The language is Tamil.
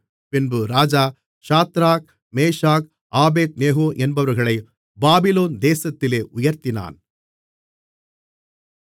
பின்பு ராஜா சாத்ராக் மேஷாக் ஆபேத்நேகோ என்பவர்களைப் பாபிலோன் தேசத்திலே உயர்த்தினான்